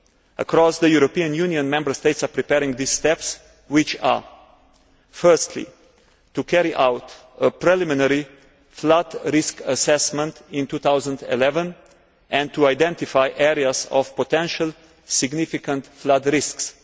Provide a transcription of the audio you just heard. Across the European Union, Member States are preparing these steps, which are firstly, to carry out a preliminary flood risk assessment in 2011 and to identify areas of potential significant flood risks